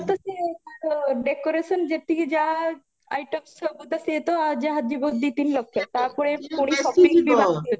ବାହାଘର ତ ସିଏ ତାଙ୍କ decoration ଯେତିକି ଯାହା item ସବୁ ତ ସିଏ ତ ଯାହା ଜୀବ ଦି ତିନି ଲକ୍ଷ ତାପରେ ପୁଣି shopping